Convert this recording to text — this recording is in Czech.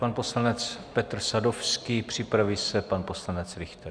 Pan poslanec Petr Sadovský, připraví se pan poslanec Richter.